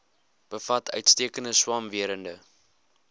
bevat uitstekende swamwerende